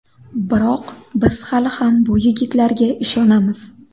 Biroq biz hali ham bu yigitlarga ishonamiz.